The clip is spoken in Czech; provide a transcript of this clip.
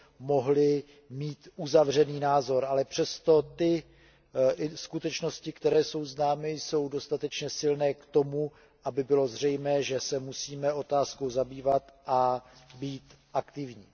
mohli mít uzavřený názor, ale přesto ty skutečnosti, které jsou známy, jsou dostatečně silné k tomu, aby bylo zřejmé, že se musíme otázkou zabývat a být aktivní.